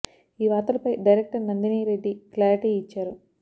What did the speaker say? ఈ వార్తలపై director Nandini Reddy clarity ఇచ్చారు